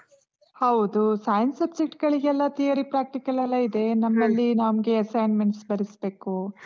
ಹೌದು. Science subject ಗಳಿಗೆಲ್ಲ theory practical ಎಲ್ಲಾ ಇದೆ. ನಮ್ಮಲ್ಲಿ ನಮ್ಗೆ assignments ಬರಿಸ್ಬೇಕು.